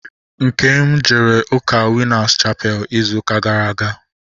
Nkem jere ụka Winas chapelu ịzụ ụka gara aga